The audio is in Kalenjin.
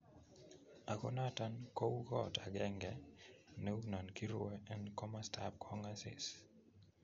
Ago noton kou kot agenge neu non girue en komostap kongasis.